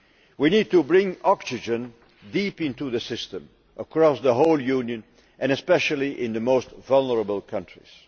We need to bring oxygen deep into the system, across the whole Union, and especially in the most vulnerable countries.